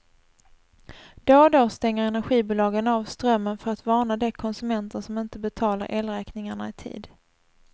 Då och då stänger energibolagen av strömmen för att varna de konsumenter som inte betalar elräkningarna i tid.